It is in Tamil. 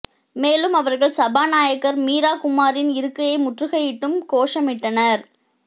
மேலும் அவர்கள் சபாநாயகர் மீரா குமாரின் இருக்கையை முற்றுகையிட்டும் கோஷமிட்டனர்